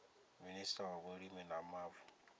minista wa vhulimi na mavu